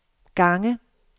gange